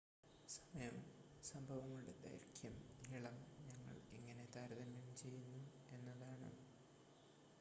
സമയം സംഭവങ്ങളുടെ ദൈർഘ്യം നീളം ഞങ്ങൾ എങ്ങനെ താരതമ്യം ചെയ്യുന്നു എന്നതാണ്